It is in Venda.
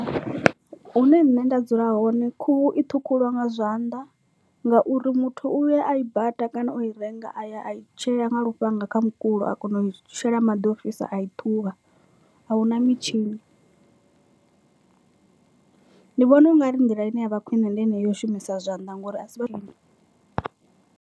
Hune nṋe nda dzula hone khuhu i ṱhukhuliwa nga zwanḓa ngauri muthu uya a i baṱa kana o i renga a ya a i tshea nga lufhanga kha mukulo a kona u i shela maḓi ḓo o fhisa a i ṱhuvha ahuna mitshini ndi vhona u nga ri nḓila ine ya vha khwine ndi enei ya u shumisa zwanḓa ngori a si vha .